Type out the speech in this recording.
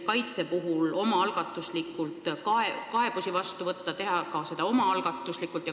Kaitsmiseks tuleb kaebusi vastu võtta, teha seda ka omaalgatuslikult.